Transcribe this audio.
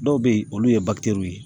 Dɔw bɛ yen olu ye ye.